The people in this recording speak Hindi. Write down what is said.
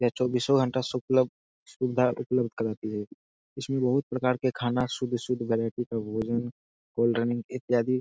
यह चौबीसों घंटा सुकलब सुविधा उपलब्ध कराती है। इसमें बहुत प्रकार के खाना शुद्ध-शुद्ध वैरायटी के भोजन कोल्ड ड्रिंक इत्यादि --